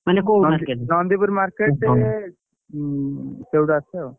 ମାନେ କୋଉ market ରୁ ନନ୍ଦୀପୁର market ଉଁ ସେଉଠୁ ଆସେ ଆଉ।